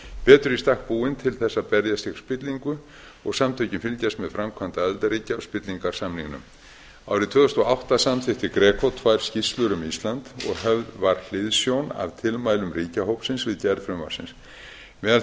betur í stakk búin til þess að berjast gegn spillingu og samtökin fylgjast með framkvæmd aðildarríkja á spillingarsamningnum árið tvö þúsund og átta samþykkti greco tvær skýrslur um ísland og höfð var hliðsjón af tilmælum ríkjahópsins við gerð frumvarpsins meðal